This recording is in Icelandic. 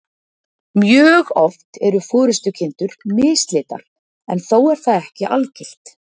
Mjög oft eru forystukindur mislitar, en þó er það ekki algilt.